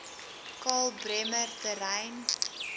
karl bremer terrein